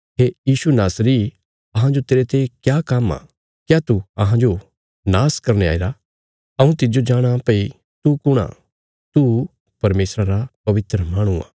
हे यीशु नासरी अहांजो तेरते क्या काम्म आ क्या तू अहांरा नाश करने आईरा हऊँ तिज्जो जाणाँ भई तू कुण आ तू परमेशरा रा पवित्र माहणु आ